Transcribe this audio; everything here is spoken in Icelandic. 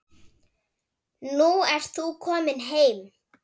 Nú ert þú komin heim.